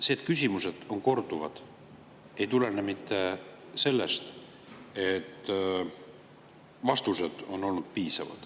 See, et küsimused on korduvad, ei tulene mitte sellest, et vastused on olnud piisavad.